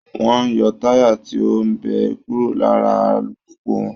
Wọ́n ń yọ táyà tí ó bẹ kúró lara alùpùpù wọn